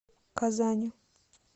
казани